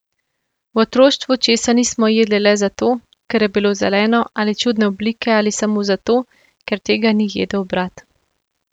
V otroštvu česa nismo jedli le zato, ker je bilo zeleno ali čudne oblike ali samo zato, ker tega ni jedel brat.